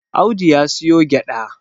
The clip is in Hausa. Audu ya siyo gyada